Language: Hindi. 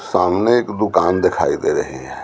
सामने एक दुकान दिखाई दे रही है।